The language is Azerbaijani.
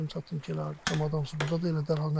Gəldim çatdım ki, camatın hamısı burdadır.